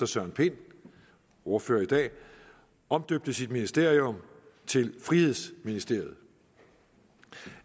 søren pind ordfører i dag omdøbte sit ministerium til frihedsministeriet